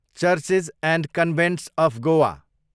churches and convents of Goa